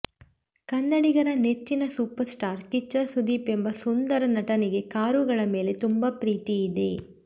ಕನ್ನಡಿಗರ ನೆಚ್ಚಿನ super star Kichcha Sudeep ಎಂಬ ಸುಂದರ ನಟನಿಗೆ ಕಾರುಗಳ ಮೇಲೆ ತುಂಬಾ ಪ್ರೀತಿ ಇದೆ